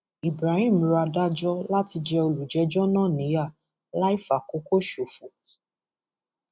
ibrahim rọ adájọ láti jẹ olùjẹjọ náà níyà láì fàkókò ṣòfò